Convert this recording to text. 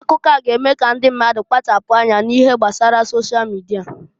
Akụkọ a g'eme k'ndi mmadụ kpachapụ anya n'ihe gbasara sosha mịdịa.